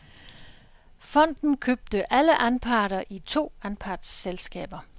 Fonden købte alle anparter i to anpartsselskaber.